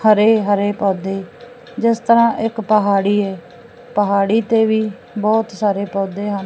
ਹਰੇ ਹਰੇ ਪੌਧੇ ਜਿਸ ਤਰਾਂ ਇੱਕ ਪਹਾੜੀ ਏ ਪਹਾੜੀ ਤੇ ਵੀ ਬਹੁਤ ਸਾਰੇ ਪੌਧੇ ਹਨ।